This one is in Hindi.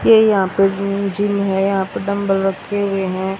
ये यहां पे जिम है यहां पे डंबल रखे हुए हैं।